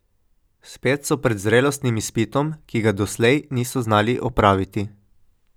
Spet so pred zrelostnim izpitom, ki ga doslej niso znali opraviti.